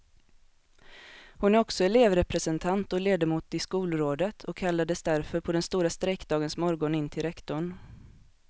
Hon är också elevrepresentant och ledamot i skolrådet och kallades därför på den stora strejkdagens morgon in till rektorn.